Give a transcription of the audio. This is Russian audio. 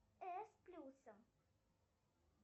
э с плюсом